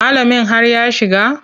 Malamin har ya shiga.